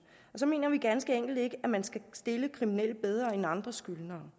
så mener vi ganske enkelt ikke at man skal stille kriminelle bedre end andre skyldnere